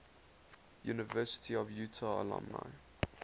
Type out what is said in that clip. university of utah alumni